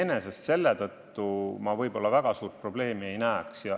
Nii et iseenesest ma selles väga suurt probleemi ei näe.